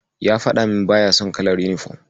Ya faɗa min baya son kalar yunifom.